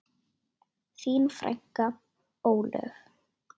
Þín frænka, Ólöf.